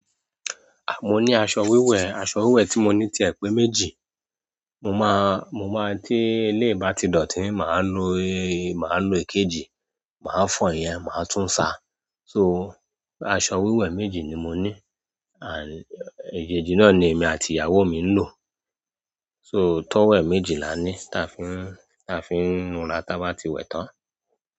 À, mo ní aṣọ wíwẹ̀, aṣọ wíwẹ̀ tí mo ní ti ẹ̀ pẹ́ méjì. Mo má, mo má tí eléyi bá ti dọ̀tí, màá lo, màá lo èkejì, màá fọ̀ iyen, màá tún ṣà. So, aṣọ wíwẹ̀ méjì ni mo ní. Ejẹ́jì náà ni èmi àti ìyàwó mi ń lò. So, towel méjì lá ni táa fi ń, táa fi ń nu ara táa bá ti wẹ̀ tán.